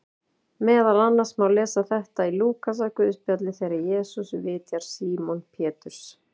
Meðal annars má lesa þetta í Lúkasarguðspjalli þegar Jesús vitjar Símon Péturs: